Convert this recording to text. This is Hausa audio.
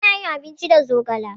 Ana yin abinci da zogale.